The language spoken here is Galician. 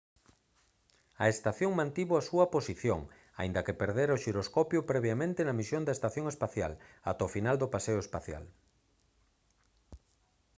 a estación mantivo a súa posición aínda que perdera o xiroscopio previamente na misión da estación espacial ata o final do paseo espacial